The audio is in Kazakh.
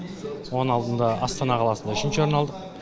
оның алдында астана қаласында үшінші орын алдық